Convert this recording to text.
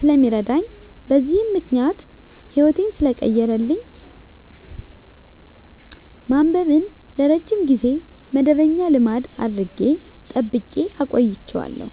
ስለሚረዳኝ በዚህም ምክንያት ህይወቴን ሰለቀየረልኝ ማንበብን ለረጅም ጊዜ መደበኛ ልማድ አድርጌ ጠብቄ አቆይቸዋለሁ።